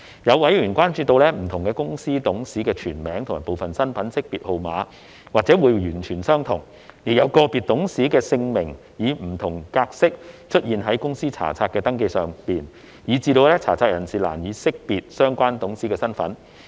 有委員關注到，不同公司董事的全名及部分身份識別號碼或會完全相同，亦有個別董事的姓名以不同格式出現於公司查冊的登記上，以致查冊人士難以識別相關董事身份。